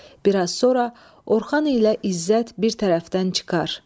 Bir az sonra Orxan ilə İzzət bir tərəfdən çıxar.